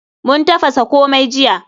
Mun tafasa komai jiya.